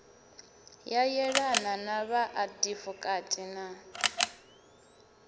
ya yelana na vhaadivokati na